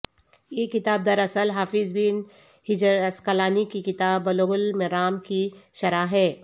یہ کتاب دراصل حافظابن حجر عسقلانی کی کتاب بلوغ المرام کی شرح ہے